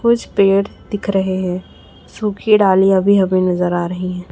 कुछ पेड़ दिख रहे हैं सुखी डालियां अभी अभी नजर आ रही है।